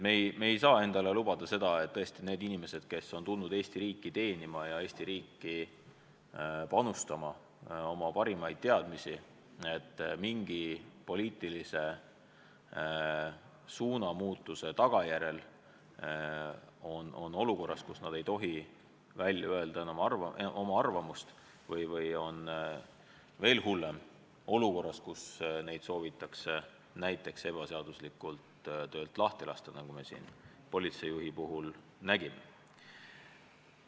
Me ei saa endale lubada seda, et inimesed, kes on tulnud Eesti riiki teenima ja panustama Eesti riiki oma parimaid teadmisi, on mingi poliitilise suunamuutuse tagajärjel olukorras, kus nad ei tohi välja öelda oma arvamust või on, veel hullem, olukorras, kus neid soovitakse ebaseaduslikult töölt lahti lasta, nagu me politseijuhi puhul nägime.